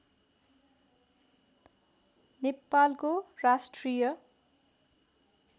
नेपालको राष्ट्रिय